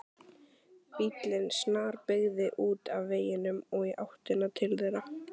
Bíllinn snarbeygði út af veginum og í áttina til þeirra.